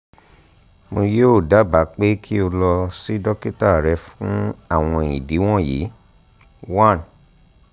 mo yoo daba pe ki o lọ si dokita rẹ fun awọn idi wọnyi: one